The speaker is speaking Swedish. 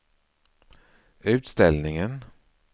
utställningen